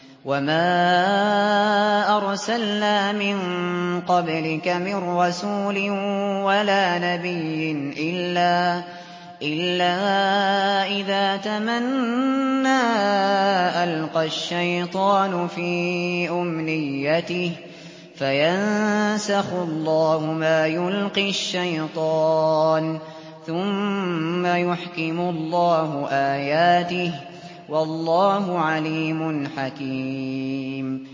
وَمَا أَرْسَلْنَا مِن قَبْلِكَ مِن رَّسُولٍ وَلَا نَبِيٍّ إِلَّا إِذَا تَمَنَّىٰ أَلْقَى الشَّيْطَانُ فِي أُمْنِيَّتِهِ فَيَنسَخُ اللَّهُ مَا يُلْقِي الشَّيْطَانُ ثُمَّ يُحْكِمُ اللَّهُ آيَاتِهِ ۗ وَاللَّهُ عَلِيمٌ حَكِيمٌ